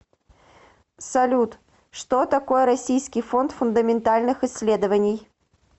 салют что такое российский фонд фундаментальных исследований